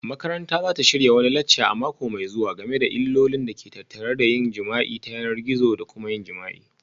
Makaranta za ta shirya wani lacca a mako mai zuwa game da illolin da ke tattare da yin jima'i ta yanar gizo da kuma yin jima'i